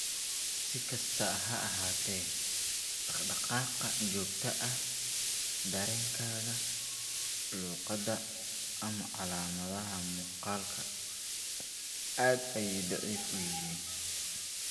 Si kastaba ha ahaatee, dhaqdhaqaaqa joogtada ah, dareenka, luqadda, ama calaamadaha muuqaalku aad ayay dhif u yihiin.